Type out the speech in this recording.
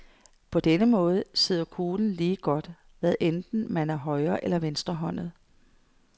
På denne måde sidder kuglen lige godt, hvad enten man er højre eller venstrehåndet.